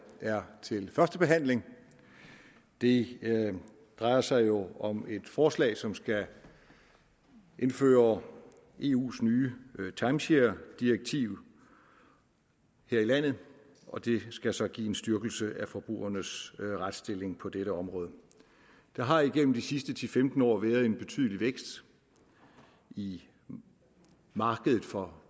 er til første behandling det drejer sig jo om et forslag som skal indføre eus nye timesharedirektiv her i landet og det skal så give en styrkelse af forbrugernes retsstilling på dette område der har igennem de sidste ti til femten år været en betydelig vækst i markedet for